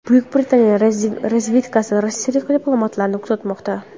Buyuk Britaniya razvedkasi rossiyalik diplomatlarni kuzatmoqda.